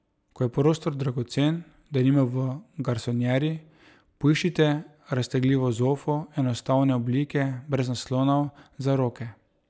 Ko je prostor dragocen, denimo v garsonjeri, poiščite raztegljivo zofo enostavne oblike brez naslonov za roke.